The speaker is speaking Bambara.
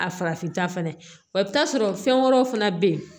A farafin ta fana wa i bɛ t'a sɔrɔ fɛn wɛrɛw fana bɛ yen